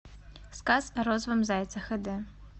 сказ о розовом зайце хд